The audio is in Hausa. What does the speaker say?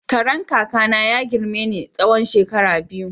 Karen kaka na ya girme ni na tsawon shekara biyu.